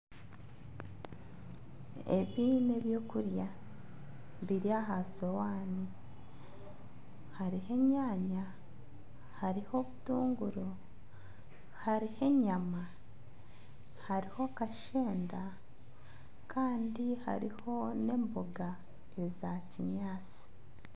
Ebi n'ebyokurya biri aha sowaani. Hariho enyaanya, hariho obutunguru. hariho enyama, hariho kashenda kandi hariho n'emboga eza kinyaatsi.